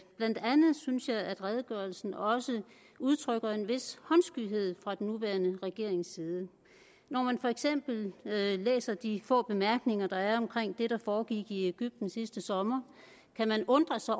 blandt andet synes jeg at redegørelsen også udtrykker en vis håndskyhed fra den nuværende regerings side når man for eksempel læser de få bemærkninger der er omkring det der foregik i egypten sidste sommer kan man undre sig